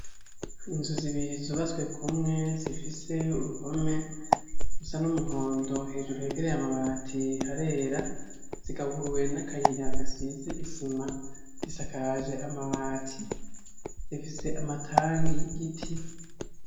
Inzu zibiri zubaswe kumwe zifise uruhome gusa n'umuhondo hejuru hegereye amabati harera zigaburwe n'akayirihagasize isima zisakaje amabati zifise amatangi y'igiti.